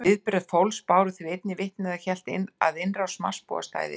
Viðbrögð fólks báru því einnig vitni að það hélt að innrás Marsbúa stæði yfir.